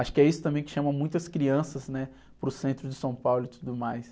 Acho que é isso também que chama muitas crianças, né? Para o centro de São Paulo e tudo mais.